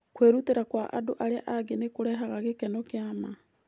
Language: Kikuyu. Kwĩrutĩra kwa andũ arĩa angĩ nĩ kũrehaga gĩkeno kĩa ma.